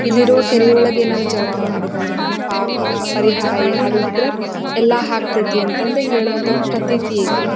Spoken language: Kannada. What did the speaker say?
ಇಲ್ಲಿರುವ ಕೆರೆ ಯೊಳಗೆ ಏನಾದ್ರು ಜಳಕ ಮಾಡಿದ್ವಿ ಅಂದ್ರೆ ನಮ್ ಪಾಪ ಪರಿಹಾರ ಏನಾದ್ರು ಇದ್ರೆ ಎಲ್ಲಾ ಹಾಕ್ತೈತಿ ಅಂತ ಹೇಳೋ ಒಂದು ಪ್ರತೀತಿ ಐತಿ .